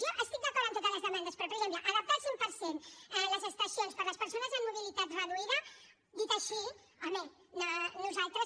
jo estic d’acord amb totes les demandes però per exemple adaptar al cent per cent les estacions per a les persones amb mobilitat reduïda dit així home nosaltres